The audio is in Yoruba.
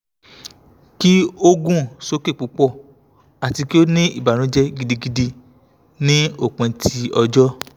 ti o gun soke pupọ ati ki o ni ibanujẹ gidigidi ni opin ti ọjọ